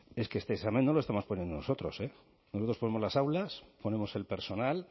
es que este examen no lo estamos poniendo nosotros nosotros ponemos las aulas ponemos el personal